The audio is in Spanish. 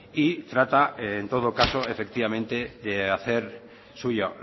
y trata en todo caso efectivamente de hacer suya